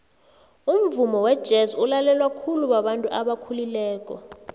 umvumo wejez ulalelwa khulu babantu abakhulileko